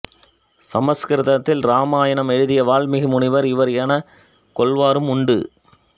சமற்கிருதத்தில் இராமாயணம் எழுதிய வான்மீகி முனிவர் இவர் எனக் கொள்வாரும் உண்டு